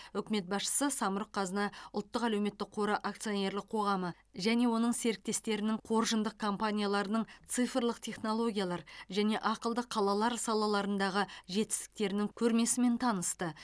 үкімет басшысы самұрық қазына ұлттық әлеуметтік қоры акционерлік қоғамы және оның серіктестерінің қоржындық компанияларының цифрлық технологиялар және ақылды қалалар салаларындағы жетістіктерінің көрмесімен танысты